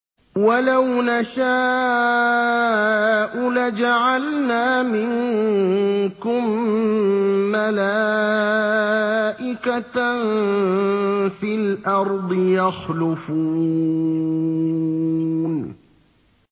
وَلَوْ نَشَاءُ لَجَعَلْنَا مِنكُم مَّلَائِكَةً فِي الْأَرْضِ يَخْلُفُونَ